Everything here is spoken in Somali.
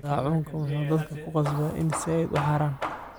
Daacunka muxu dadka kuqasbaa ina zaid uuharan.